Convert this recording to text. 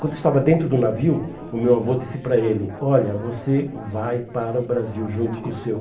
Quando estava dentro do navio, o meu avô disse para ele, olha, você vai para o Brasil junto com o seu.